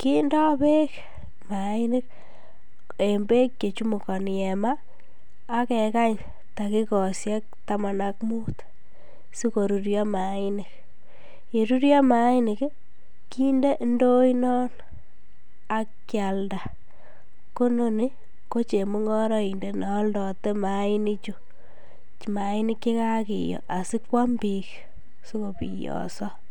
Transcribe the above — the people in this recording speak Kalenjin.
kindo beek mainik en beek chechumukoni en maa ak kekany takikoishek taman ak mut sikorurio mainik, yerurio mainik kinde indoinon ak kialda, ko inoni ko chemung'oroindet neoldote mainichu, mainik chekakiyo asikwam biik sikobiyoso.